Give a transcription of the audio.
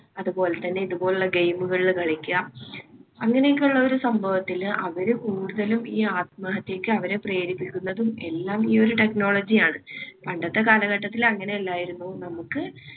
അതുപോലെതന്നെ ഇതുപോലുള്ള game കളിൽ കളിക്കാ. അങ്ങനെയൊക്കെയുള്ള ഒരു സംഭവത്തില് അവര് കൂടുതലും ഈ ആത്മഹത്യയ്ക്ക് അവരെ പ്രേരിപ്പിക്കുന്നതും എല്ലാം ഈ ഒരു technology ആണ്. പണ്ടത്തെ കാലഘട്ടത്തിൽ അങ്ങനെ അല്ലായിരുന്നു നമുക്ക്